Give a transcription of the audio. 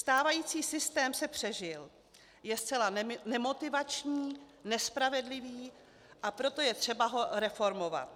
Stávající systém se přežil, je zcela nemotivační, nespravedlivý, a proto je třeba ho reformovat.